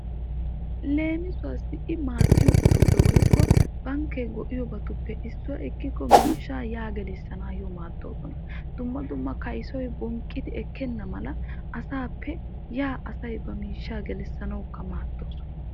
Leemisuwaassi i maaddiyaabatuppe woykko bankkee go"iyoobatuppe ekikko miishshaa yaa gelissanyoo maaddoosona. dumma dumma kayssoy bonqqidi ekkenna mala asaappe yaa asay ba miishshaa gelissanawukka maaddoosona.